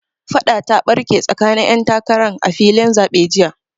Faɗa ta ɓarke tsakanin 'yan takaran a filin zaɓe jiya.